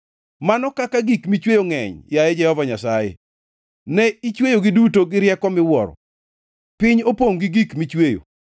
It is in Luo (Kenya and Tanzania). Mano kaka gik michweyo ngʼeny, yaye Jehova Nyasaye! Ne ichweyogi duto gi rieko miwuoro; piny opongʼ gi gik michweyo.